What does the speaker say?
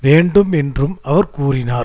வேண்டும் என்றும் அவர் கூறினார்